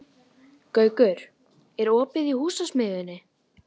Gaukur, er opið í Húsasmiðjunni?